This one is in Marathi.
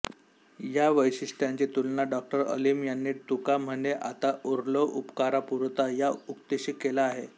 या वैशिष्टय़ांची तुलना डॉ अलीम यांनी तुका म्हणे आता उरलो उपकारापुरता या उक्तीशी केली आहे